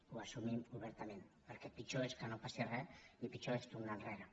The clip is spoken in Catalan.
ho assumim obertament perquè pitjor és que no passi re i pitjor és tornar enrere